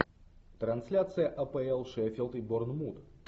трансляция апл шеффилд и борнмут